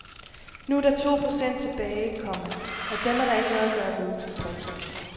Nu er der to procent tilbage, komma og dem er der ikke noget at gøre ved. punktum